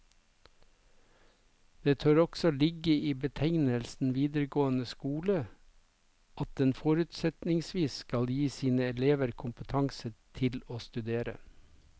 Det tør også ligge i betegnelsen videregående skole at den forutsetningsvis skal gi sine elever kompetanse til å studere.